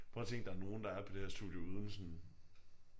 Prøv at tænk der er nogen der er på det her studie uden sådan